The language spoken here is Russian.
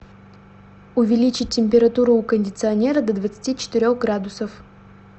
увеличить температуру у кондиционера до двадцати четырех градусов